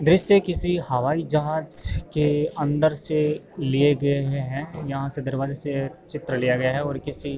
दृस्य किसी हवाई जहाज के अंदर से लिए गए हुए हैं। यहाँ से दरवाज़े से चित्र लिया गया है और किसी --